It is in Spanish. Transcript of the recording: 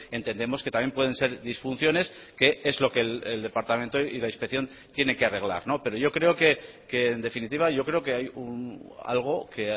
entendemos que también pueden ser disfunciones que es lo que el departamento y la inspección tiene que arreglar pero yo creo que en definitiva yo creo que hay algo que